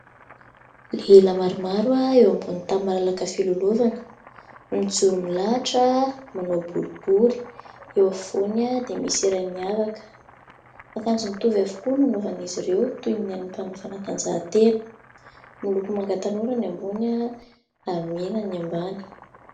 Lehilahy maromaro eo ambony tany malalaka filalaovana no mijoro milahatra manao boribory, eo afovoany dia misy iray miavaka. Miakanjo mitovy avokoa no nanaovan'izy ireo toy ny an'ny mpanao fanatanjahantena. Miloko manga tanora ny ambony ary mena ny ambany.